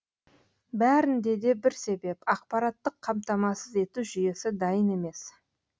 бәрінде де бір себеп ақпараттық қамтамасыз ету жүйесі дайын емес